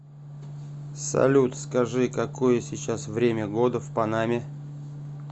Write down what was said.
салют скажи какое сейчас время года в панаме